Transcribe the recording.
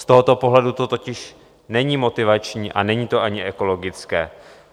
Z tohoto pohledu to totiž není motivační a není to ani ekologické.